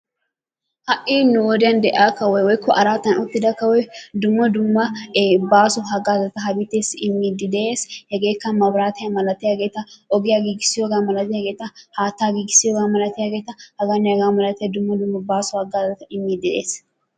Ha'i nu wodiyan de'iya kawoy woykko araatan uttida kawoy dumma dumma baaso hagaazata ha biiteessi immiidi de'ees. Hegeekka mabraatiya milattiyageeta, ogiya gigissiyoga milattiyageeta, haatta gigissiyoga milattiyageeta, hegaanne hegaa malatiyaageeta baaso hagaazata immiidi de'ees.